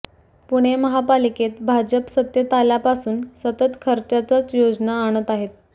पुणे महापालिकेत भाजप सत्तेत आल्यापासून सतत खर्चाच्याच योजना आणत आहे